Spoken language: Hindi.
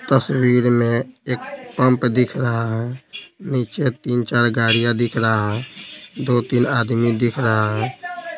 तस्वीर में एक पंप दिख रहा है नीचे तीन-चार गाड़ियां दिख रहा है दो-तीन आदमी दिख रहा है।